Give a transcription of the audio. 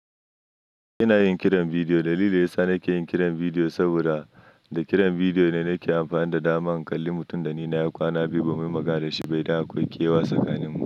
Ina yin kiran bidiyo da lili. Yasa nake yin kiran bidiyo? Saboda da kiran bidiyo ne nake amfani da dama in kalli mutum da nina yi kwana biyu ba mu yi magana da shi ba, idan akwai kewa tsakaninmu.